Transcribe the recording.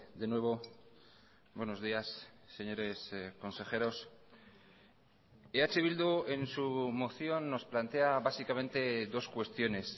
de nuevo buenos días señores consejeros eh bildu en su moción nos plantea básicamente dos cuestiones